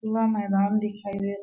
खुला मैदान दिखाई दे--